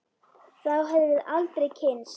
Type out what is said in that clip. Þá hefðum við aldrei kynnst